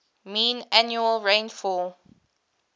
mean annual rainfall